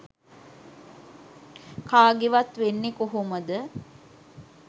කාගෙවත් වෙන්නෙ කොහොමද?